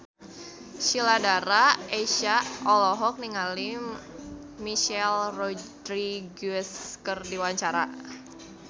Sheila Dara Aisha olohok ningali Michelle Rodriguez keur diwawancara